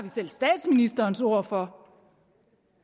selv statsministerens ord for